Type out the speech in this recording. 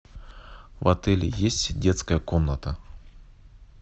в отеле есть детская комната